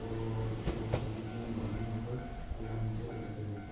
और बहोत सारी जो है मालाए यहाँ पर लाइन से लटक रही है।